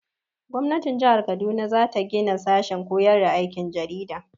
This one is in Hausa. Gwamnatin jihar Kaduna za gina sashen koyar da aikin jarida.